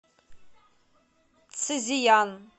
цзеян